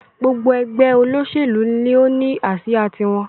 Gbogbo ẹgbẹ́ olóṣèlú ni ó ní asia tí wọn